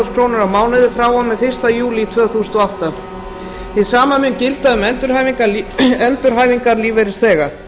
krónur á mánuði frá og með fyrsta júlí tvö þúsund og átta hið sama mun gilda um endurhæfingarlífeyrisþega